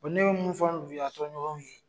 ne bɛ mun fɔ y' a tɔɲɔgɔnw ye.